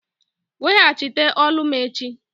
Weghachite olu m echi!